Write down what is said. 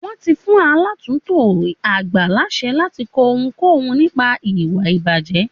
Wọ́n ti fún aláàtùntò àgbà láṣẹ láti kọ ohunkóhun, nípa ìwà ìbàjẹ́.